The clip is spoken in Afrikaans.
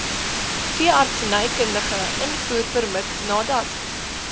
veeartsenykundige invoerpermit nadat